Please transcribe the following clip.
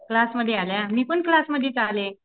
क्लासमध्ये आल्या मी पण क्लासमध्येच आले.